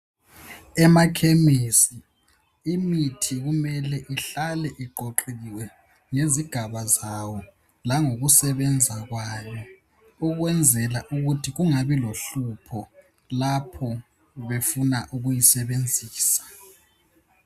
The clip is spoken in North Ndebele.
Emakhemisi imithi kumele ihlale iqoqekile ngezigaba zayo langokusebenza kwayo ukwenzela ukuthi kungabi lohlupho lapho befuna ukuyisebenzisa.